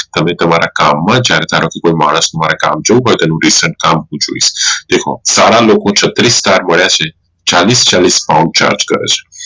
હવે તમારા કામ માં જયારે માણસ નું કામ જોવું પડે ત્યારે તેનું recent કામ પૂછ્યું હોઈ સારા લોકો ને છત્રીશ star મળ્યા છે ચાલીશ ચાલીશ pound charge કરે છે